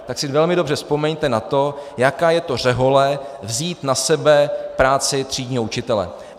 Tak si velmi dobře vzpomeňte na to, jaká je to řehole, vzít na sebe práci třídního učitele.